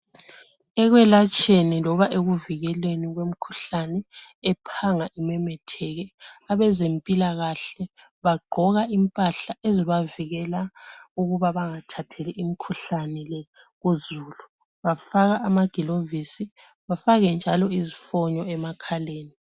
Ekwelatsheni loba ekuvikeleni kwemkhuhlane ephanga imemetheke abezempilakahle bagqoka impahla ezibavikela ukuba bangathatheli imkhuhlane le kuzulu. Bafaka ama gilovisi bafake njalo izfonyo emakhaleni.